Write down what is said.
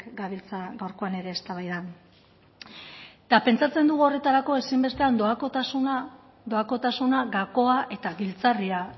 gabiltza gaurkoan ere eztabaidan eta pentsatzen dugu horretarako ezinbestekoan doakotasuna doakotasuna gakoa eta giltzarria